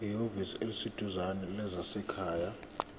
ehhovisi eliseduzane lezasekhaya